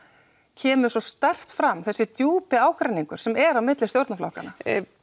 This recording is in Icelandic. kemur svo sterkt fram þessi djúpi ágreiningur sem er á milli stjórnarflokkana